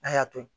N'a y'a to yen